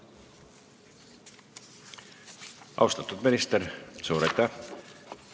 Austatud minister, suur aitäh!